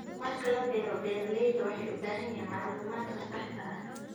Marka la beero, beeralayda waxay u baahan yihiin macluumaadka saxda ah.